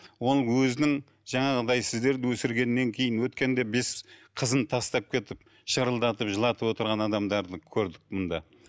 оның өзінің жаңағыдай сіздерді өсіргеннен кейін өткенде бес қызын тастап кетіп шырылдатып жылатып отырған адамдарды көрдік мында